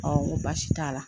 ŋo baasi t'a la